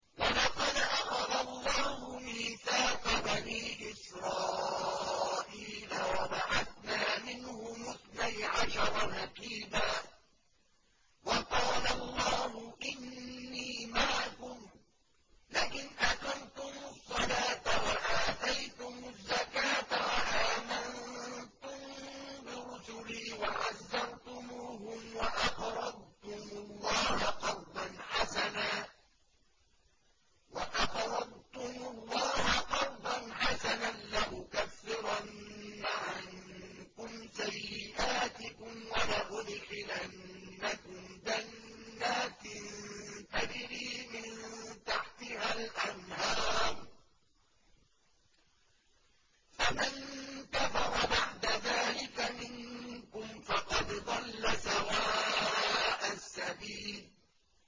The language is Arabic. ۞ وَلَقَدْ أَخَذَ اللَّهُ مِيثَاقَ بَنِي إِسْرَائِيلَ وَبَعَثْنَا مِنْهُمُ اثْنَيْ عَشَرَ نَقِيبًا ۖ وَقَالَ اللَّهُ إِنِّي مَعَكُمْ ۖ لَئِنْ أَقَمْتُمُ الصَّلَاةَ وَآتَيْتُمُ الزَّكَاةَ وَآمَنتُم بِرُسُلِي وَعَزَّرْتُمُوهُمْ وَأَقْرَضْتُمُ اللَّهَ قَرْضًا حَسَنًا لَّأُكَفِّرَنَّ عَنكُمْ سَيِّئَاتِكُمْ وَلَأُدْخِلَنَّكُمْ جَنَّاتٍ تَجْرِي مِن تَحْتِهَا الْأَنْهَارُ ۚ فَمَن كَفَرَ بَعْدَ ذَٰلِكَ مِنكُمْ فَقَدْ ضَلَّ سَوَاءَ السَّبِيلِ